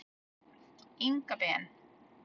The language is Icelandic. Inga Ben.